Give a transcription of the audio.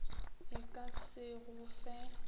e ka se go fe